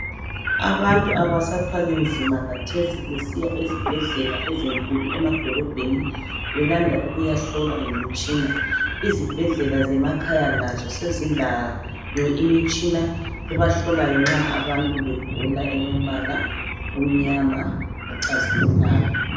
Abantu abasathwali nzima khathesi besiya ezibhedlela ezinkulu emadolobheni belanda ukuyahlolwaa ngemitshina. Izibhedlela zemakhaya lazo sezilayo imitshina ehlolayo nxa abantu begula. Elombala omnyama locazimulayo.